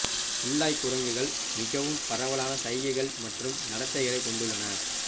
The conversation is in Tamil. குல்லாய் குரங்குகள் மிகவும் பரவலான சைகைகள் மற்றும் நடத்தைகளைக் கொண்டுள்ளன